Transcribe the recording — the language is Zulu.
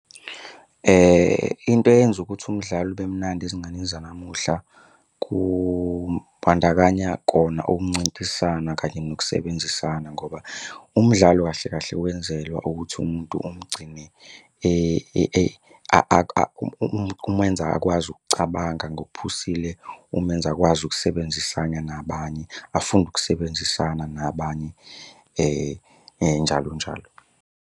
Into eyenza ukuthi umdlalo ube mnandi ezinganeni zanamuhla kubandakanya kona ukuncintisana kanye nokusebenzisana ngoba umdlalo kahle kahle wenzelwa ukuthi umuntu umgcine kumenza akwazi ukucabanga ngokuphusile, kumenza akwazi ukusebenzisana nabanye afunde ukusebenzisana nabanye njalo njalo.